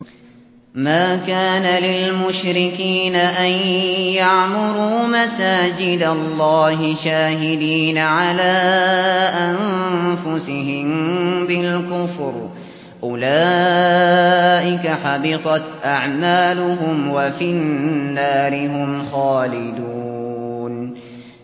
مَا كَانَ لِلْمُشْرِكِينَ أَن يَعْمُرُوا مَسَاجِدَ اللَّهِ شَاهِدِينَ عَلَىٰ أَنفُسِهِم بِالْكُفْرِ ۚ أُولَٰئِكَ حَبِطَتْ أَعْمَالُهُمْ وَفِي النَّارِ هُمْ خَالِدُونَ